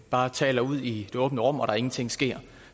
bare taler ud i det åbne rum og der ingenting sker